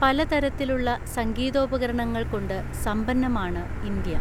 പലതരത്തിലുള്ള സംഘീതോപകരണ ങ്ങൾകൊണ്ട് സമ്പന്നമാണ് ഇന്ത്യ.